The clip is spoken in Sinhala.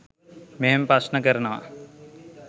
මෙහෙම ප්‍රශ්න කරනවා.